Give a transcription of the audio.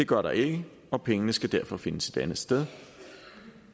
gør der ikke og pengene skal derfor findes et andet sted